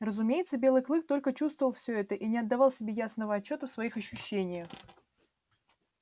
разумеется белый клык только чувствовал все это и не отдавал себе ясного отчёта в своих ощущениях